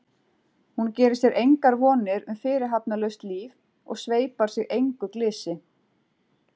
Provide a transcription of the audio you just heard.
Hún gerir sér engar vonir um fyrirhafnarlaust líf og sveipar sig engu glysi.